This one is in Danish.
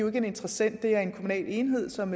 er en interessent det er en kommunal enhed som